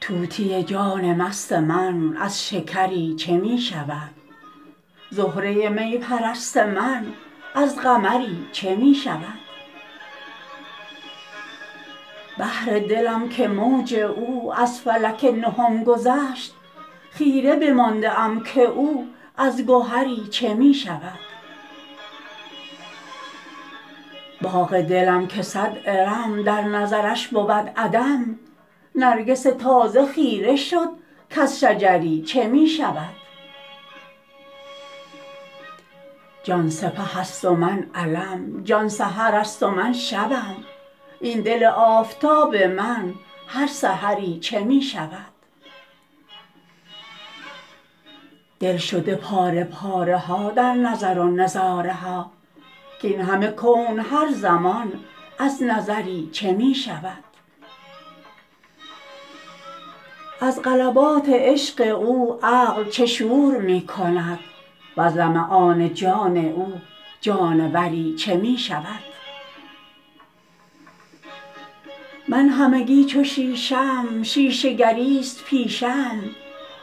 طوطی جان مست من از شکری چه می شود زهره می پرست من از قمری چه می شود بحر دلم که موج او از فلک نهم گذشت خیره بمانده ام که او از گهری چه می شود باغ دلم که صد ارم در نظرش بود عدم نرگس تازه خیره شد کز شجری چه می شود جان سپه ست و من علم جان سحر ست و من شبم این دل آفتاب من هر سحری چه می شود دل شده پاره پاره ها در نظر و نظاره ها کاین همه کون هر زمان از نظری چه می شود از غلبات عشق او عقل چه شور می کند وز لمعان جان او جانوری چه می شود من همگی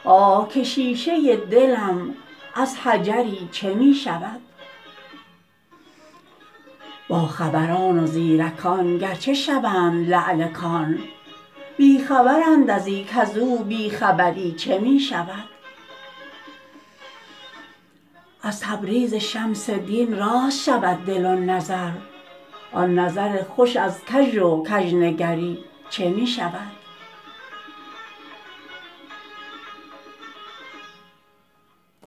چو شیشه ام شیشه گری ست پیشه ام آه که شیشه دلم از حجری چه می شود باخبران و زیرکان گرچه شوند لعل کان بی خبرند از این کز او بی خبری چه می شود از تبریز شمس دین راست شود دل و نظر آن نظر خوش از کژ و کژنگری چه می شود